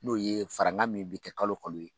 N'o ye farankan min bɛ kɛ kalo o kalo ye